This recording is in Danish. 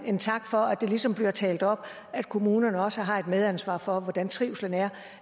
en tak for at det ligesom bliver talt op at kommunerne også har et medansvar for hvordan trivslen er